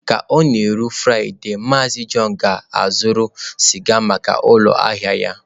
Ka ọ na-erule Fraịde, MaazịJohn ga-azụrụ sịga maka ụlọ ahịa ya.